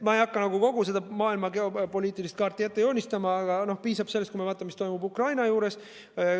Ma ei hakka kogu maailma geopoliitilist kaarti ette joonistama, aga piisab sellest, kui me vaatame, mis toimub Ukrainas.